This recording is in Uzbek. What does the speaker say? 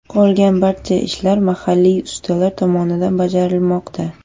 Qolgan barcha ishlar mahalliy ustalar tomonidan bajarilmoqda.